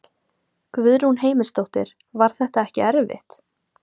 Guðrún Heimisdóttir: Var þetta ekki erfitt?